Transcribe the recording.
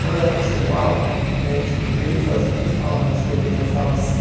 Quando ela passou mal, o médico veio e foi as últimas palavras que eu ouvi ela falar assim,